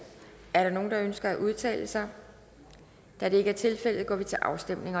er der nogen der ønsker at udtale sig da det ikke er tilfældet går vi til afstemning